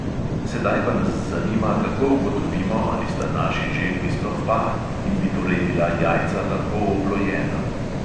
Sedaj pa nas zanima, kako ugotovimo, ali sta naši želvi sploh par in bi torej bila jajca lahko oplojena.